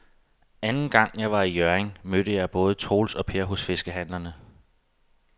Anden gang jeg var i Hjørring, mødte jeg både Troels og Per hos fiskehandlerne.